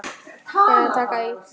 Eða taka í.